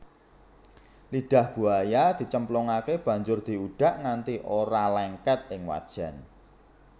Lidah buaya dicemplungake banjur diudak nganti ora lengket ing wajan